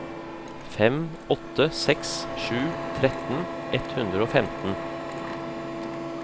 fem åtte seks sju tretten ett hundre og femten